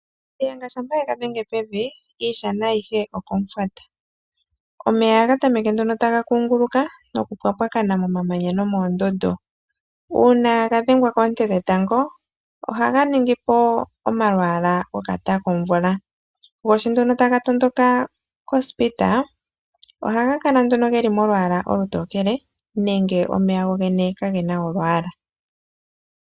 Nashiyenga shampa ye ga dhenge pevi, iishana ayihe okomufwata. Omeya ohaga tameke nduno taga kunguluka nokupwapwakana momamanya no moondundu. Uuna ga dhengwa koonte dhetango ohaga ningi po omalwaala gokata komvula. Go sho nduno taga tondoka kondapo, ohaga kala nduno geli molwaala olutokele nenge omeya go ka gena olwaala.